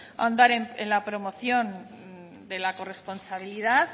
ahondar en la promoción de la corresponsabilidad